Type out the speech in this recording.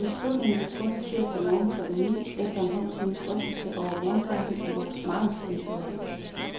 Beslutningen blev truffet tirsdag morgen klokken ni, efter en halv times drøftelse over morgenkaffen i vores markedsføringsudvalg.